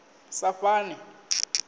saṱhane